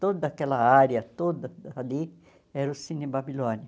Toda aquela área toda ali era o Cine Babilônia.